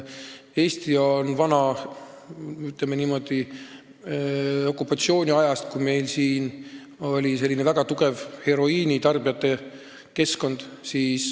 Eestis oli, ütleme niimoodi, okupatsiooniajal selline väga tugev heroiinitarbijate kogukond.